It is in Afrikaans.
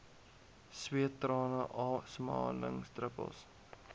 sweet trane asemhalingsdruppels